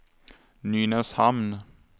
Nynäshamn